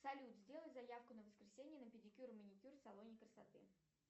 салют сделай заявку на воскресенье на педикюр и маникюр в салоне красоты